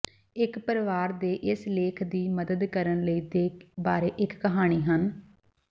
ਇੱਕ ਪਰਿਵਾਰ ਦੇ ਇਸ ਲੇਖ ਦੀ ਮਦਦ ਕਰਨ ਲਈ ਦੇ ਬਾਰੇ ਇੱਕ ਕਹਾਣੀ ਹਨ